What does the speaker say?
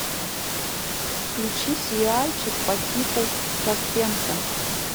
включи сериальчик по типу саспенса